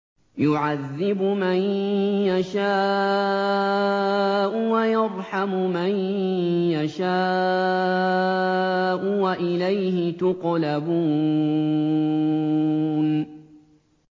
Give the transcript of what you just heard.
يُعَذِّبُ مَن يَشَاءُ وَيَرْحَمُ مَن يَشَاءُ ۖ وَإِلَيْهِ تُقْلَبُونَ